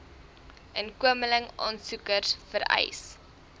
inkomeling aansoekers vereis